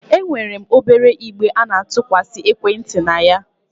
E nwere obere igbe a na-atụkwasị ekwenti na ya.